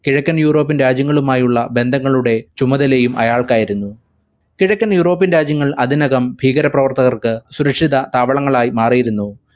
കിഴക്കൻ european രാജ്യങ്ങളുമായുള്ള ബന്ധങ്ങളുടെയും ചുമതല അയാൾക്കായിരുന്നു കിഴക്കൻ european രാജ്യങ്ങൾ അതിനകം ഭീകര പ്രവർത്തകർക്ക് സുരക്ഷിത താവളങ്ങളായി മാറിയിരുന്നു.